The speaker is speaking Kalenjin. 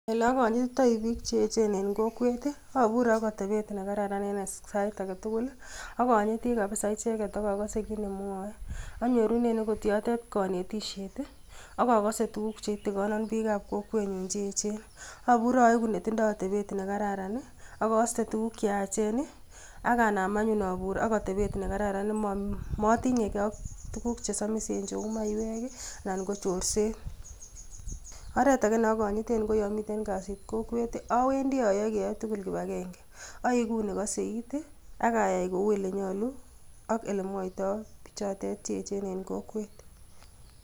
Ole akanyititioi biik cheechen eng kokwet, abure ak atebet nekararan eng sait age tugul. Akanyiti kabisa icheket ak akase kit ne mwaei. Anyorune yotok kanetishet ak akaset tukuk cheitikona biik ab kokwenyu cheechen. Abur aegu netinyei atebet nekararan ak aiste tukuk cheyachen, ak anam anyun abur ak atebet negaran. Matinyegei ak tukuk chesamisen cheu maiwek anan ko chorset. Oret age neakonyiten, ko yomiten kasit kokwet awendi ayae keyae tugul kipagenge. Aegu nekasei it ak ayai kou ole nyoluak ole. mwoitoi bichotet cheechen eng kokwet.